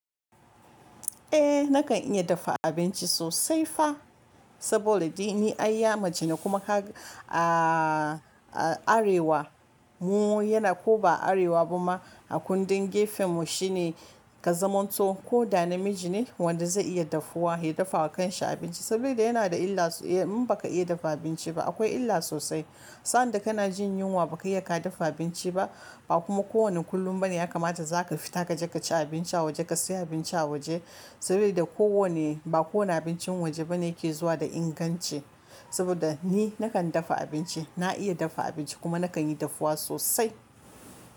Eh nakan iya daffa abinci sosai fa sabora dai ni ai ya mace ne kuma kaga a a arewa mu yana ko ba arewa ba ma a kundin gefen mu shine ka zamanto ko da na miji ne wanda zai iya daffuwa ya dafa wa kan shi abinci saboda yana da illa mun ba ka iya daffa abinci ba akwai illa sosai. Sa'an da kana jin yunwa ba ka iya ka daffa abinci ba ba kuma ko wani kullum ba ne ya kamata za ka fita kaje ka ci abinci a waje ka siya abinci a waje saboda ko wane ba kowane abincin waje ba ne ke zuwa da inganci saboda ni nakan daffa abinci na iya daffa abinci kuma nakan yi daffuwa sosai.